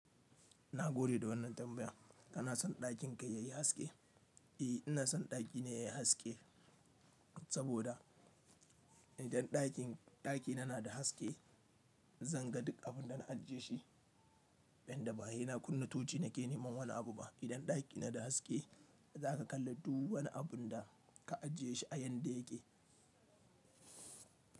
Na gode da wannan tambayan. Kana son ɗakin ka yayi haske? Eh, ina son ɗaki na yayi haske saboda idan ɗakin ɗaki na na da haske, zan ga duk abin da na ajiye shi. Inda ba ha ina kunna tochi nake neman wani abu ba. Idan ɗaki na da haske, zaka kalla duk wani abun da ka ajiye shi a yadda yake.